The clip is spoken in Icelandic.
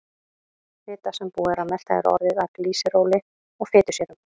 Fita sem búið er að melta er orðin að glýseróli og fitusýrum.